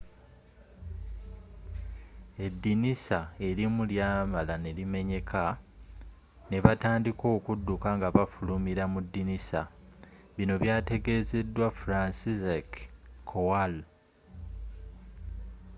edinisa elimu lyamala nelimenyeka nebatandika okudduka nga bafulumila mudinisa bino byatutegezeddwa franciszek kowal